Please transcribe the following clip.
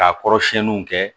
K'a kɔrɔ siɲɛniw kɛ